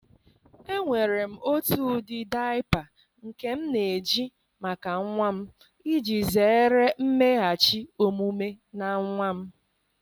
Enwere m otu ụdị diaper nke m na-eji maka nwa m, iji zere mmeghachi omume na nwa m